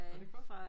Var det godt